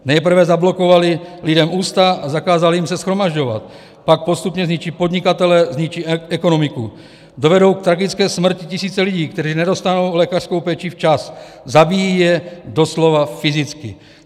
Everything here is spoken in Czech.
Nejprve zablokovali lidem ústa a zakázali jim se shromažďovat, pak postupně zničí podnikatele, zničí ekonomiku, dovedou k tragické smrti tisíce lidí, kteří nedostanou lékařskou péči včas, zabíjí je doslova fyzicky.